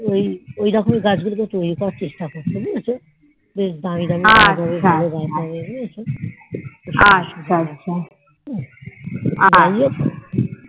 ওই ওই রকমই গাছ গুলোকে তৈরী করে চেষ্টা করছে বুঝেছো বেশ দামি দামি গাছ হবে ভালো ভালো গাছ হবে তো যাই হোক